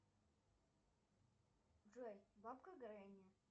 джой бабка гренни